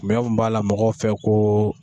b'a la mɔgɔw fɛ ko